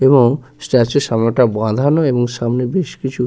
এবং স্ট্যাচুর সামনেটা বাঁধানো এবং সামনে বেশ কিছু--